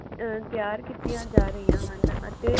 ਅਹ ਤਿਆਰ ਕੀਤੀਆਂ ਜਾ ਰਹੀਆਂ ਹਨ ਅਤੇ